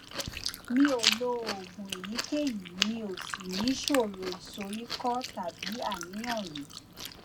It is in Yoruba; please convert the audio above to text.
mi ò lo oògùn èyíkéyìí mi ò sì níṣòro ìsoríkọ tàbí àníyàn rí